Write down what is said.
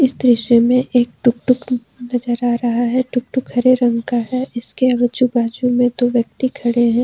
इस दृश्य में एक टुकटुक नजर आ रहा है टुकटुक हरे रंग का है इसके आजू बाजू में दो व्यक्ति खड़े हैं।